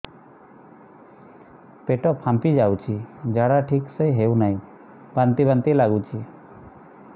ପେଟ ଫାମ୍ପି ଯାଉଛି ଝାଡା ଠିକ ସେ ହଉନାହିଁ ବାନ୍ତି ବାନ୍ତି ଲଗୁଛି